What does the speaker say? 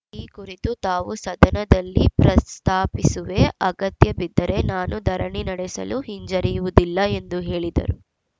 ಈ ಕುರಿತು ತಾವು ಸದನದಲ್ಲಿ ಪ್ರಸ್ತಾಪಿಸುವೆ ಅಗತ್ಯಬಿದ್ದರೆ ನಾನೂ ಧರಣಿ ನಡೆಸಲು ಹಿಂಜರಿಯುವುದಿಲ್ಲ ಎಂದು ಹೇಳಿದರು